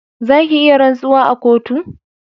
Za ki iya rantsuwa a kotu